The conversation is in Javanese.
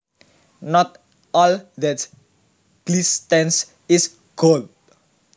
Not all that glistens is gold